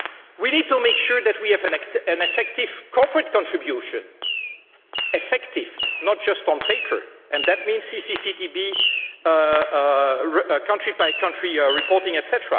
We need to make sure that we have an effective corporate contribution effective, not just on paper and that means CCCTB country by country reporting, etc.